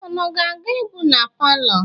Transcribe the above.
Unu ga-aga egwu na palọ?